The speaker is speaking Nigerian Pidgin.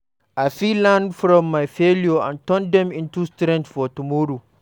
I fit learn from my failures and turn dem into strength for tomorrow.